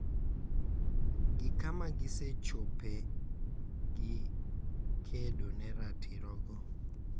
Gi kama gisechope gi kedo ne ratirogo